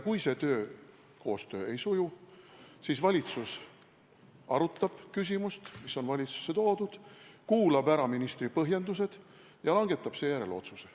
Kui koostöö ei suju, siis arutab valitsus küsimust, mis on valitsusse toodud, kuulab ära ministri põhjendused ja langetab seejärel otsuse.